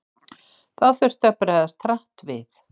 Þá þurfti að bregðast hratt við.